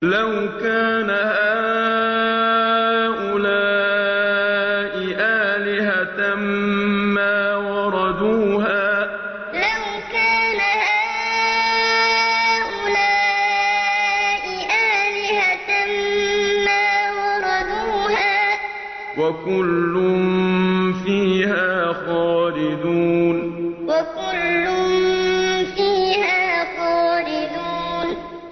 لَوْ كَانَ هَٰؤُلَاءِ آلِهَةً مَّا وَرَدُوهَا ۖ وَكُلٌّ فِيهَا خَالِدُونَ لَوْ كَانَ هَٰؤُلَاءِ آلِهَةً مَّا وَرَدُوهَا ۖ وَكُلٌّ فِيهَا خَالِدُونَ